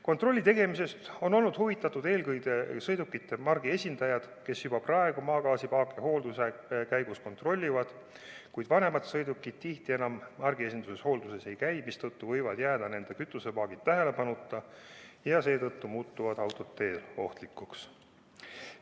Kontrolli tegemisest on olnud huvitatud eelkõige sõidukimarkide esindajad, kes juba praegu maagaasipaake hoolduse käigus kontrollivad, kuid vanemad sõidukid tihti enam margiesinduses hoolduses ei käi, mistõttu võivad jääda nende kütusepaagid tähelepanuta ja seetõttu muutuvad autod teel ohtlikuks.